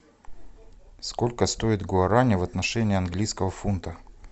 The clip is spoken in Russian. сколько стоит гуарани в отношении английского фунта